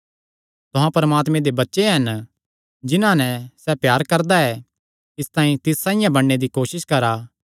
तुहां परमात्मे दे बच्चे हन जिन्हां नैं सैह़ प्यार करदा ऐ इसतांई तिस साइआं बणने दी कोसस करा